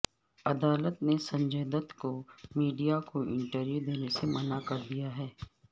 عدالت نے سنجے دت کو میڈیا کو انٹرویو دینے سے منع کردیا ہے